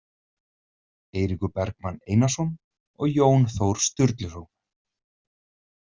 Eiríkur Bergmann Einarsson og Jón Þór Sturluson.